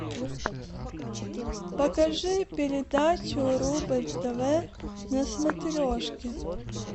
покажи передачу рубль тв на смотрешке